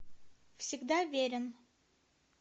всегда верен